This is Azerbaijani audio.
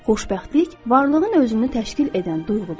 Xoşbəxtlik varlığın özünü təşkil edən duyğudur.